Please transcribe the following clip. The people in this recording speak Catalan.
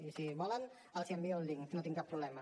i si volen els n’envio el link no hi tinc cap problema